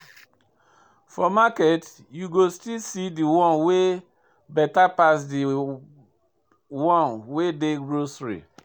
For market, you go still see de one wey better pass de one wey dey grocery.